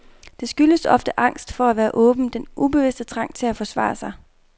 Det skyldes ofte angst for at være åben, den ubevidste trang til at forsvare sig.